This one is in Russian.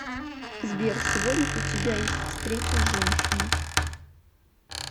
сбер сегодня у тебя есть встреча с женщиной